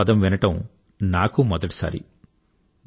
plogging అన్న పదం వినడం నాకూ మొదటిసారి